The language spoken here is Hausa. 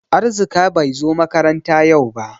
Arzika bai zo makaranta yau ba.